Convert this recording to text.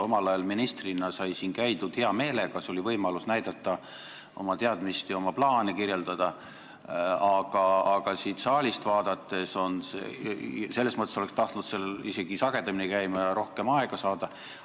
Omal ajal ministrina sai siin käidud hea meelega, see oli võimalus näidata oma teadmisi ja oma plaane kirjeldada, oleks tahtnud isegi sagedamini siin käia ja rohkem aega saada.